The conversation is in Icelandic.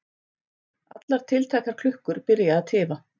Allar tiltækar klukkur byrja að tifa.